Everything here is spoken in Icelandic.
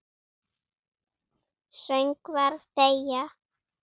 Söngvar þegja.